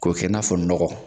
K'o kɛ n'a fɔ nɔgɔ